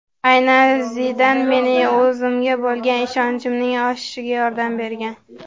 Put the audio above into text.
Aynan Zidan mening o‘zimga bo‘lgan ishonchimning oshishiga yordam bergan”.